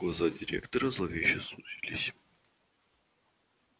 глаза директора зловеще сузились